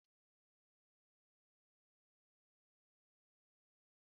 Aghọtaghị m ilu a, ị nwere ike ikwugharị ya?